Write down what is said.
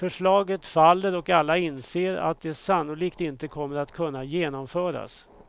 Förslaget faller och alla inser att det sannolikt inte kommer att kunna genomföras.